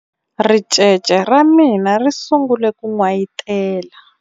ricece ra mina ri sungule ku n'wayitela